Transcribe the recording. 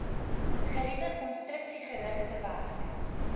geriewe konstruksiegerigte werk